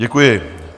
Děkuji.